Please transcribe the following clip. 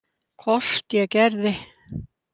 Hvort ég gerði.